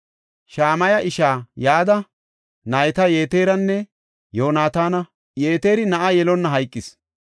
Shamaya ishaa Yada nayti Yeteranne Yoonataana; Yeteri na7a yelonna hayqis.